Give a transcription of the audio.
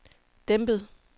dæmpet